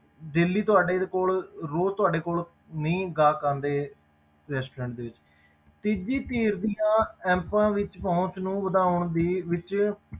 Daily ਤੁਹਾਡੇ ਕੋਲ ਰੋਜ਼ ਤੁਹਾਡੇ ਕੋਲ ਨਹੀਂ ਗਾਹਕ ਆਉਂਦੇ restaurant ਦੇ ਵਿੱਚ ਤੀਜੀ ਧਿਰ ਦੀਆਂ apps ਵਿੱਚ ਪਹੁੰਚ ਨੂੰ ਵਧਾਉਣ ਦੀ ਵਿੱਚ